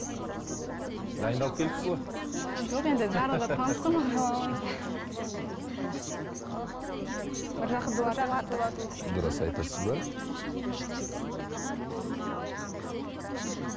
дайындалып келіпсіз ғой жоқ енді барлығы таныс қой дұрыс айтасыздар